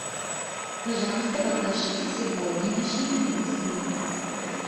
пожалуйста покажите сегодняшний курс евро